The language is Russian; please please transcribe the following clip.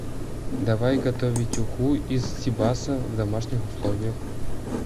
давай готовить уху из сибаса в домашних условиях